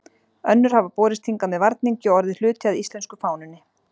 Önnur hafa borist hingað með varningi og orðið hluti af íslensku fánunni.